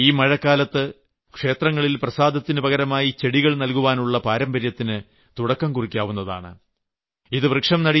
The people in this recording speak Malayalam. അതുപോലെ ഈ മഴക്കാലത്ത് ക്ഷേത്രങ്ങളിൽ പ്രസാദത്തിനുപകരമായി ചെടികൾ നൽകുവാനുള്ള പാരമ്പര്യത്തിന് തുടക്കംകുറിക്കാവുന്നതാണ്